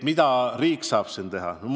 Mida riik saab siin teha?